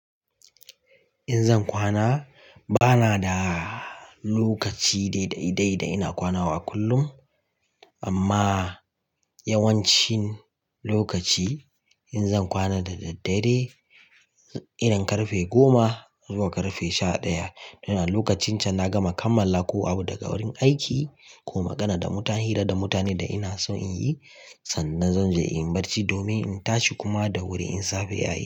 In zan kwana bana da lokaci dai dai dai ina kwana a kullum amma yawancin lokaci in zan kwana da daddare irin karfe goma zuwa karfe sha ɗaya. Lokacin can na gama kammala ko abu daga wurin aiki ko magana da mutane, hira da mutane da ina so in yi sannan zan je in barci domin in tashi kuma da wuri in safe ya yi.